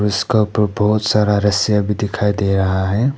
इसका ऊपर बहोत सारा रस्सीया भी दिखाई दे रहा है।